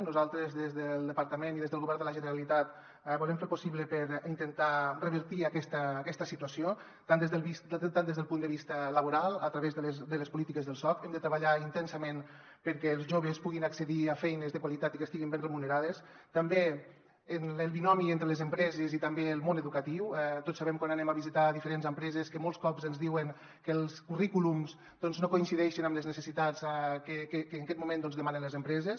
nosaltres des del departament i des del govern de la generalitat volem fer el possible per intentar revertir aquesta situació tant des del punt de vista laboral a través de les polítiques del soc hem de treballar intensa·ment perquè els joves puguin accedir a feines de qualitat i que estiguin ben remu·nerades com també en el binomi entre les empreses i també el món educatiu tots sabem quan anem a visitar diferents empreses que molts cops ens diuen que els currículums no coincideixen amb les necessitats que en aquest moment demanen les empreses